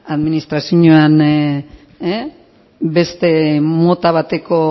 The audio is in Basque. administrazioan beste mota bateko